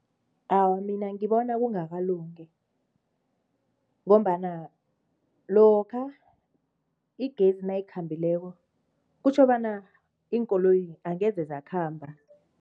Awa, mina ngibona kungakalungi ngombana lokha igezi nayikhambileko kutjho bona, iinkoloyi angeze zakhamba.